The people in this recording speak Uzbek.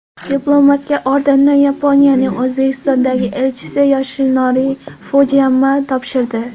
Diplomatga ordenni Yaponiyaning O‘zbekistondagi elchisi Yoshinori Fujiyama topshirdi.